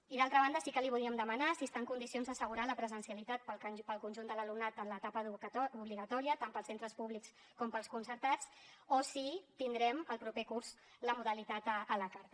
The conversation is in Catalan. i d’altra banda sí que li volíem demanar si està en condicions d’assegurar la presencialitat per al conjunt de l’alumnat en l’etapa educativa obligatòria tant per als centres públics com per als concertats o si tindrem el proper curs la modalitat a la carta